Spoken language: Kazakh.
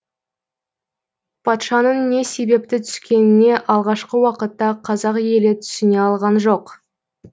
патшаның не себепті түскеніне алғашқы уақытта қазақ елі түсіне алған жоқ